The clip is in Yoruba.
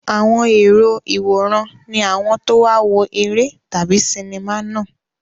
Àwọn èrò ìwòran ni àwọn tó wá wo eré tàbí sinimá náà.